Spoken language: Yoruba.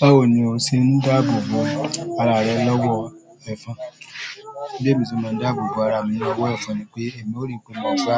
Báwo ni o ṣe ń dáàbò bo ara rẹ lọ́wọ́ ẹ̀fọn? Bi emi ṣe máa ń dáàbò bo ara mi lọ́wọ́ ẹ̀fọn ni pé èmi ò rí pé mo gbá,